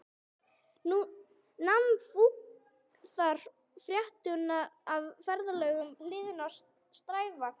Nam fúþark fretrúna af ferðalöngum hliðum strætisvagna